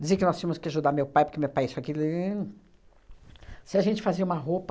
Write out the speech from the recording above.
Dizia que nós tínhamos que ajudar meu pai, porque meu pai isso aquilo e... Se a gente fazia uma roupa